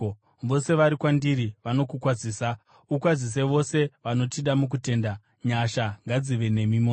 Vose vari kwandiri vanokukwazisa. Ukwazise vose vanotida mukutenda. Nyasha ngadzive nemi mose.